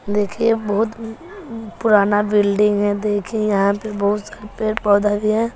देखिए बहुत उँ पुराना बिल्डिंग है देखिए यहां पे बहुत सारे पेड़ पौधा भी है।